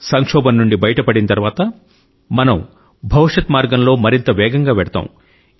సంక్షోభం నుండి బయటపడిన తరువాత మనం భవిష్యత్ మార్గంలో మరింత వేగంగా వెళ్తాం